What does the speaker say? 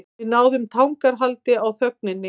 Við náðum tangarhaldi á þögninni.